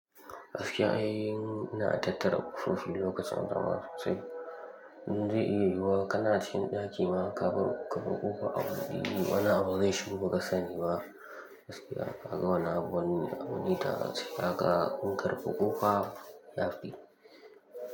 Askiya, in na tattara kurfin lokacin anjima sosai, inda iya yiwa kana cikin ɗaki ma ka bar, ka bar ƙuƙa abu, wani abu ne shubu ka sani ma askiya ka ga wani abu wani, wani da ka ƙarɓi ƙuƙa ya fi.